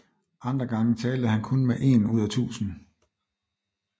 Andre gange talte han om kun én ud af tusind